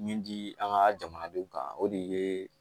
Min di an ka jamanadenw kan o de ye